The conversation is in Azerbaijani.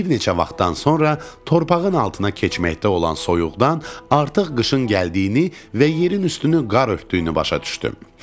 Bir neçə vaxtdan sonra torpağın altına keçməkdə olan soyuqdan artıq qışın gəldiyini və yerin üstünü qar örtdüyünü başa düşdüm.